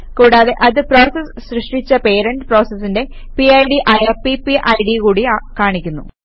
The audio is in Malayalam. കൂടാതെ അത് പ്രോസസ് സൃഷ്ടിച്ച പേരന്റ് പ്രോസസിന്റെ പിഡ് ആയ പിപിഡ് കൂടി കാണിക്കുന്നു